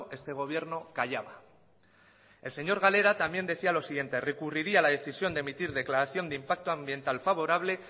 este gobierno callaba el señor galera también decía lo siguiente recurriría la decisión de emitir declaración de impacto ambiental favorable